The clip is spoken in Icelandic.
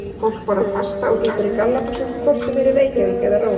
Fólk borðar pasta og gengur í gallabuxum hvort sem er í Reykjavík eða Róm.